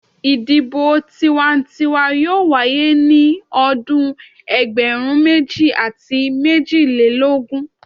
Idibo tiwantiwa yoo waye ni ọdun ẹgbẹrun meji ati mejilelogun